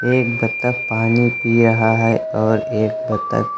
एक बत्तख पानी पी रहा है और एक बत्तख--